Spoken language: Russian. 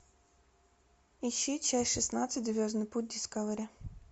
ищи часть шестнадцать звездный путь дискавери